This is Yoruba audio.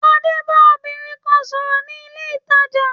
Adé ba obìnrin kan sòrò ni ilé ìtajà